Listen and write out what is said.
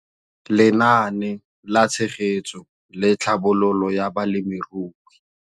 Lenaane la Tshegetso le Tlhabololo ya Balemirui.